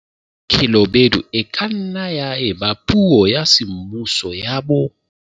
Khelobedu e ka nna ya eba puo ya semmuso ya bo